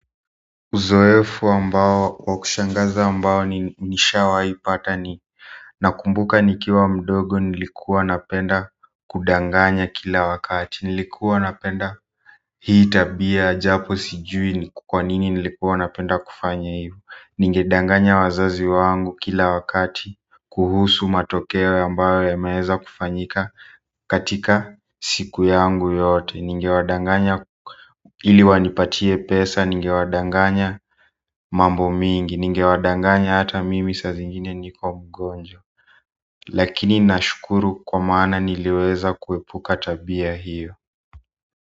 Uzoefu ambao wa kushangaza ambao ni nishawaipata ni nakumbuka nikiwa mdogo nilikuwa napenda kudanganya kila wakati nilikuwa napenda hii tabia japo sijui kwa nini nilikuwa napenda kufanya hivo. Ningedanganya wazazi wangu kila wakati kuhusu matokeo ambayo yameweza kufanyika katika siku yangu yote ningewadanganya ili wanipatie pesa ningewadanganya mambo mingi ningewadanganya hata mimi saa zingine niko mgonjwa lakini nashukuru kwa maana niliweza kuepuka tabia hiyo.